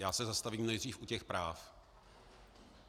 Já se zastavím nejdřív u těch práv.